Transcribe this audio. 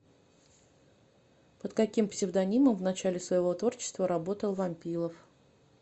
под каким псевдонимом в начале своего творчества работал вампилов